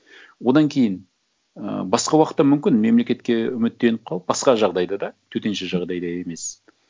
одан кейін ы басқа уақытта мүмкін мемлекетке үміттеніп қалып басқа жағдайда да төтенше жағдайда емес